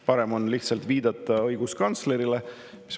Parem on lihtsalt viidata õiguskantslerile.